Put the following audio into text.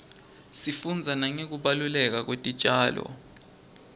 sifunbza nangekubaluleka kwetitjalo